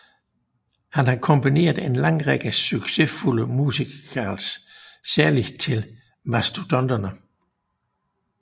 Han har komponeret en lang række succesfulde musicals særligt til Mastodonterne